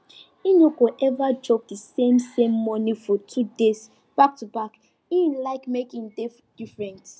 e no go ever chop the same same morning food two days backtoback e like make e dey different